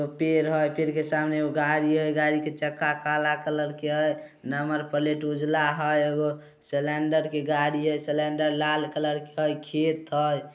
पेड़ हेय पेड़ के सामने गाड़ी हेय गाड़ी के चक्का काला कलर के हेय नम्‍बर प्‍लेट उजला हेय एगो सिलेंडर के गाड़ी है सेलेन्‍डर लाल कलर के हेय खेत हेय।